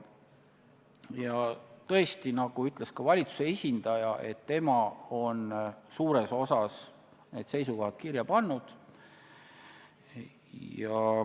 Ja tõesti, nagu ütles ka valitsuse esindaja, on tema suures osas need seisukohad kirja pannud.